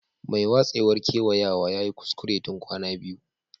Mai watsewar kewayawa ya yi kuskure tun kwana biyu.